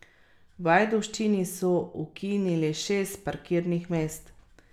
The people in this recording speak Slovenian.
V Ajdovščini so ukinili šest parkirnih mest.